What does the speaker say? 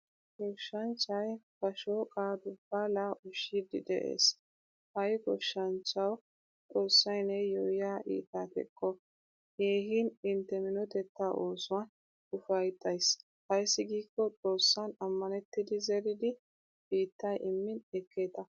Goshshanchchay ba shoqqa dubbala ushshidi de'ees. Hay goshshanchchawu xoossay neyo yiya iitta teqqo. Keehin intte minotetta oosuwaan ufayttays. Ayssi giiko xoossan amanettidi zeridi biittay immin ekkeeta.